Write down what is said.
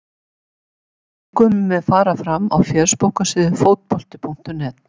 Leikurinn mun fara fram á fésbókarsíðu Fótbolti.net.